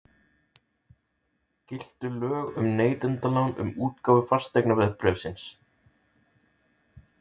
Giltu lög um neytendalán um útgáfu fasteignaveðbréfsins?